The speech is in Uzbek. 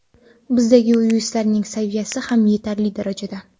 Bizdagi yuristlarning saviyasi ham yetarli darajada.